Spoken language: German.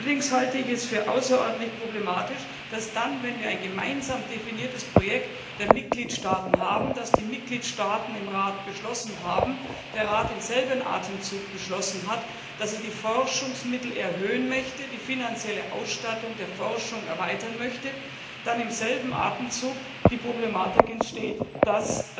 Allerdings halte ich es für außerordentlich problematisch, dass dann, wenn wir ein gemeinsam definiertes Projekt der Mitgliedstaaten haben, das die Mitgliedstaaten im Rat beschlossen haben, der Rat im selben Atemzug beschlossen hat, dass er die Forschungsmittel erhöhen und die finanzielle Ausstattung der Forschung erweitern möchte, wodurch die Problematik entsteht, dass